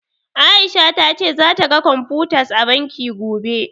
A'isha ta ce zata ga computers a banki, gobe.